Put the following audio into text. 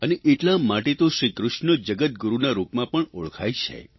અને એટલા માટે તો શ્રીકૃષ્ણ જગદગુરૂના રૂપમાં પણ ઓળખવામાં આવે છે